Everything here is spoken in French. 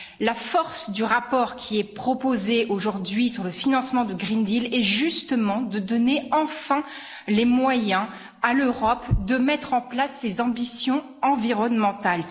La force du rapport qui est proposé aujourd'hui sur le financement du pacte vert pour l'Europe est, justement, de donner enfin les moyens à l'Europe de mettre en place ses ambitions environnementales.